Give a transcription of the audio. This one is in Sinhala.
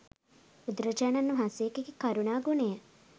බුදුරජාණන් වහන්සේගෙ කරුණා ගුණය.